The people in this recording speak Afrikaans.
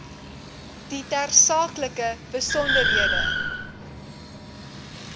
die tersaaklike besonderhede